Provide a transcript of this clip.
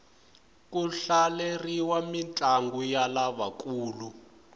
ku hlaleriwa mintlangu ya lavakulu